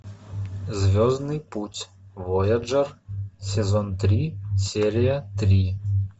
звездный путь вояджер сезон три серия три